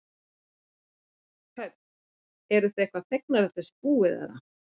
Hödd: Eruð þið eitthvað fegnar að þetta sé búið eða?